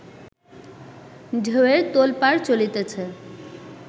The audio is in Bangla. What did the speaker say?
ঢেউয়ের তোলপাড় চলিতেছে